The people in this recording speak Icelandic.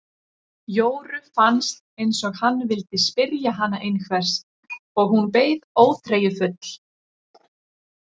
Jóru fannst eins og hann vildi spyrja hana einhvers og hún beið óþreyjufull.